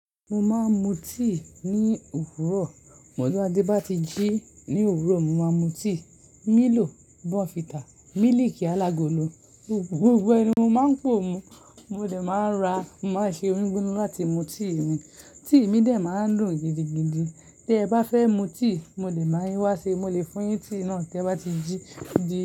Mo máa ń mu tíì ní òwúrọ̀. Mọ́dùnádé bá ti jí ní òwúrọ̀, mo máa mu tíì. Milo, Bonfita, mílíkì alágolo, gbogbo ẹ ni mo máa ń pò mu. Mo de máa ra, mo máa ṣe omi gbigbona láti mu tíì mi. Tíì mi dè ọ́ máa ń dùn gidigidi. Tẹ bá fẹ́ mu tíì, mo lè ba yin wá ṣe, mo lè fún yín ni tíì náà tẹ bá ti jí.